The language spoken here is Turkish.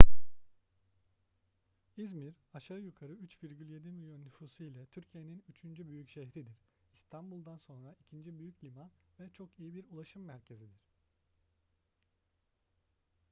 i̇zmir aşağı yukarı 3,7 milyon nüfusu ile türkiye'nin üçüncü büyük şehridir i̇stanbul'dan sonra ikinci büyük liman ve çok iyi bir ulaşım merkezidir